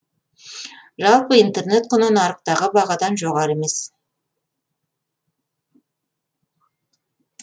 жалпы интернет құны нарықтағы бағадан жоғары емес